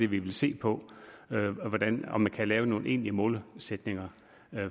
vi vil se på og om man kan lave nogle egentlige målsætninger